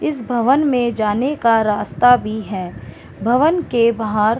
इस भवन में जाने का सस्ता भी है भवन के बाहर --